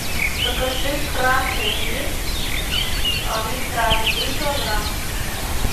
закажи красный рис мистраль один килограмм